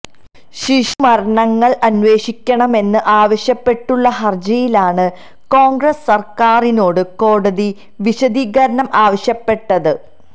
ശിശുമരണങ്ങൾ അന്വേഷിക്കണമെന്ന് ആവശ്യപ്പെട്ടുള്ള ഹർജിയിലാണ് കോൺഗ്രസ് സർക്കാരിനോട് കോടതി വിശദീകരണം ആവശ്യപ്പെട്ടത്